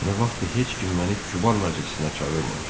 Nə vaxtdır heç kim məni kübar məclisinə çağırmamışdı.